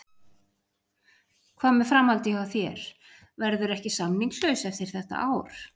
Hvað með framhaldið hjá þér, verðurðu ekki samningslaus eftir þetta ár?